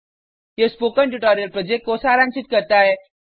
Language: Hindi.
यह स्पोकन ट्यटोरियल प्रोजेक्ट को सारांशित करता है